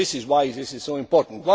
This is why this is so important.